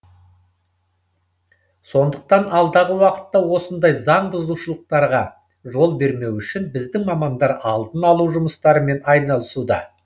сондықтан алдағы уақытта осындай заңбұзушылықтарға жол бермеу үшін біздің мамандар алдын алу жұмыстарымен айналысуда